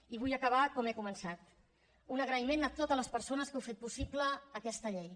i vull acabar com he començat un agraïment a totes les persones que heu fet possible aquesta llei